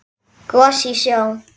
Gos í sjó